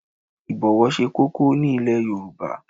Ibowo se koko ni ile Yoruba